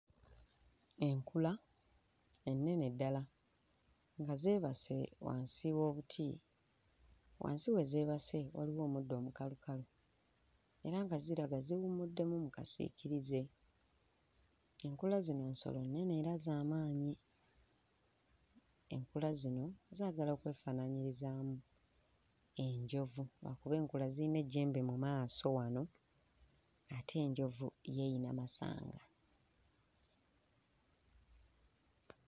Enkula enene ddala nga zeebase wansi w'omuti, wansi we zeebase waliwo omuddo omukalukalu era nga ziraga ziwummuddemu mu kasiikirize, enkula zino nsolo nnene era nga za maanyi, enkula zino zaagala okwefaananyirizaamu enjovu, lwakuba enkula ziyina ejjembe mu maaso wano ate enjovu yo eyina masanga.